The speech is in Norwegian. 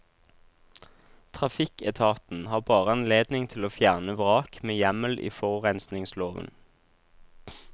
Trafikketaten har bare anledning til å fjerne vrak med hjemmel i forurensningsloven.